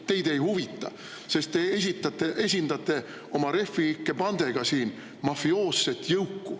Teid ei huvita, sest te esindate oma Refi ikke bandega mafioosset jõuku.